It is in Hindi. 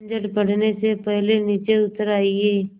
झंझट बढ़ने से पहले नीचे उतर आइए